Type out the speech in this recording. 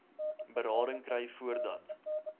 berading kry voordat